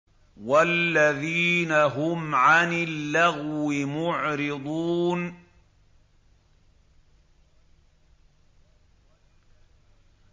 وَالَّذِينَ هُمْ عَنِ اللَّغْوِ مُعْرِضُونَ